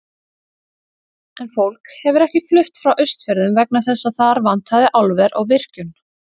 En fólk hefur ekki flutt frá Austfjörðum vegna þess að þar vantaði álver og virkjun.